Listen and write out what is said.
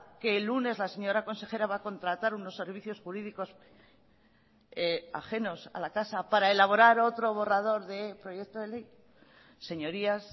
que el lunes la señora consejera va a contratar unos servicios jurídicos ajenos a la casa para elaborar otro borrador de proyecto de ley señorías